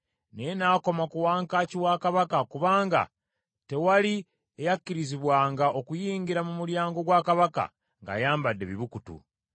naye n’akoma ku wankaaki wa kabaka, kubanga tewali eyakirizibwanga okuyingira mu mulyango gwa Kabaka ng’ayambadde ebibukutu.